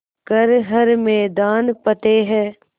कर हर मैदान फ़तेह